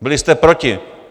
Byli jste proti.